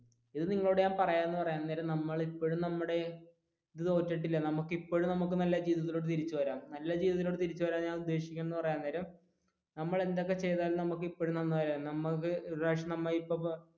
ഇത് ഞാൻ നിങ്ങളോട് പറയാൻ നേരം നമ്മൾ ഇപ്പഴും നമ്മുടെ നല്ല ജീവിതത്തിലോട്ട് തിരിച്ചു വരാം എന്ന് പറയാൻ നേരം ഉദ്ദേശിക്കുന്നത് എന്ന് പറയാൻ നേരം നമ്മൾ എന്തൊക്കെ ചെയ്താലും നമുക്ക് ഇപ്പോഴും